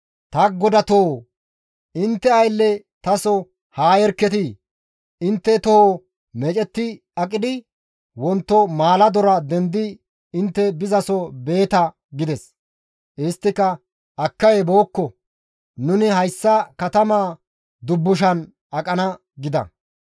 «Ta godatoo! Intte aylle taso haa yerketi; intte toho meecetti aqidi wonto maaladora dendidi intte bizaso beeta» gides. Isttika, «Akkay bookko; nuni hayssa katamaa dubbushan aqana» gida.